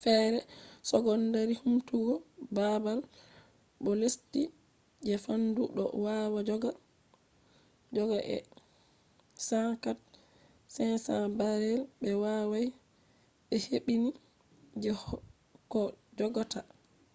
fere secondary humtugo babal do lesti je fandu do wawa joga 104,500 barrels be wawai be hebbini je koh jogata